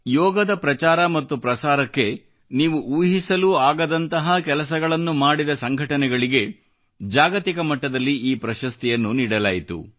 ಯೋಗದ ಪ್ರಚಾರ ಮತ್ತು ಪ್ರಸಾರಕ್ಕೆ ನೀವು ಊಹಿಸಲೂ ಆಗದಂತಹ ಕೆಲಸಗಳನ್ನು ಮಾಡಿದ ವಿಶ್ವಾದ್ಯಂತದ ಸಂಘಟನೆಗಳಿಗೆ ಈ ಪ್ರಶಸ್ತಿಯನ್ನು ನೀಡಲಾಯಿತು